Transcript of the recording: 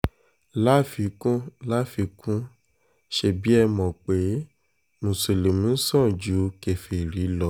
láfikún láfikún ṣebí ẹ mọ̀ pé mùsùlùmí sàn ju kèfèrí lọ